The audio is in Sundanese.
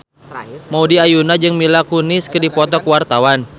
Maudy Ayunda jeung Mila Kunis keur dipoto ku wartawan